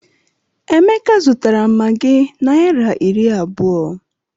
Emeka zụtara maggi naira iri abụọ.